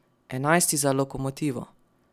Enajsti za lokomotivo.